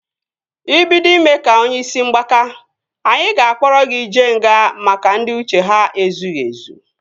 Ị bido ime ka onye isi mgbaka, anyị ga-akpọrọ gị jee nga maka ndị uche ha ezughị ezụ